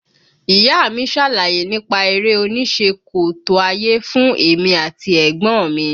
Ìyá a mi ṣàlàyé nípa eré onísẹ́ kòtò ayé fún èmi àti ẹ̀gbọ́n mi